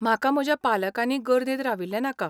म्हाका म्हज्या पालकांनी गर्देंत राविल्लें नाका.